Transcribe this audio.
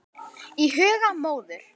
Í huga móður